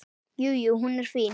Jú, jú. hún er fín.